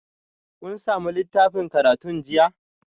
Kun sami littafin karatun jiya?